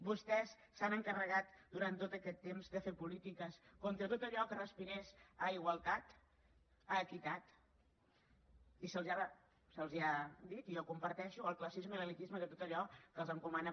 vostès s’han encarregat durant tot aquest temps de fer polítiques contra tot allò que respirés a igualtat a equitat i se’ls ha dit i jo ho comparteixo el classisme i l’elitisme de tot allò que els encomana